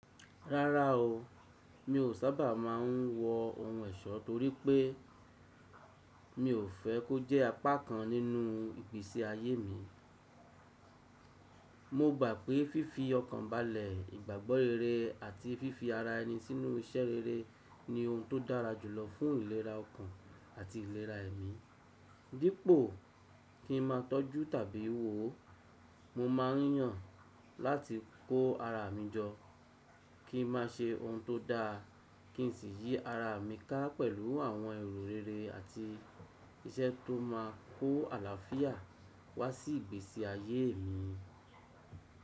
Rárá o, mi ò sábà má a n wo ohun ẹ̀ṣọ́ torípé mi ò fẹ́ kó jẹ́ apá kan nínú ìgbésí ayé mi. Mo gba pé fífi ọkàn balẹ̀, ìgbàgbọ́ rere àti fífi ara ẹni sínú iṣẹ́ rere ni ohun tó dára jùlọ fún ìlera ọkàn àti ìlera ẹ̀mí. Dípò kí n ma tọ́jú tàbí wò ó, mo ma n yàn láti kó ara mi jọ. Kí n má a ṣe ohun tó daa, kí n sì yí ara mi ká pẹ̀lú àwọn èrò rere àti iṣẹ́ tó má a kó àlàáfíà wá sí ìgbésí ayeé mi.